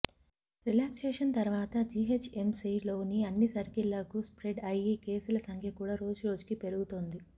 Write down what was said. relaxations తర్వాత జీహెచ్ఎంసీలోని అన్ని సర్కిళ్లకు స్ప్రెడ్ అయి కేసుల సంఖ్య కూడా రోజురోజుకి పెరుగుతోంది